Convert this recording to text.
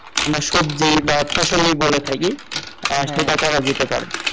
আমরা সবজি বা ফসলী বলে থাকি আহ সেটা করা যেতে পারে